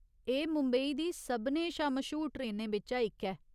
एह् मुंबई दी सभनें शा मश्हूर ट्रेनें बिच्चा इक ऐ।